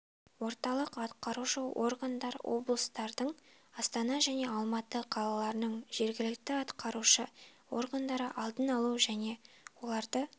орталық атқарушы органдар облыстардың астана және алматы қалаларының жергілікті атқарушы органдары алдын алу және оларды